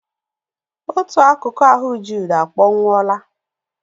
Otù akụkụ ahụ Jude a kpọnwụwola.